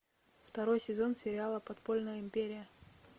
второй сезон сериала подпольная империя